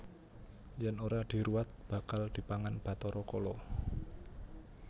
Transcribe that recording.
Yen ora diruwat bakal dipangan Bathara Kala